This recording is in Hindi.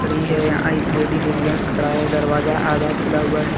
लेडीज एक जेंट्स खड़ा है दरवाजा आधा खुला हुआ है।